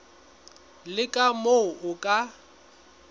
le ka moo o ka